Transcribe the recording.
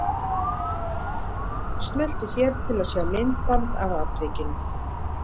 Smeltu hér til að sjá myndband af atvikinu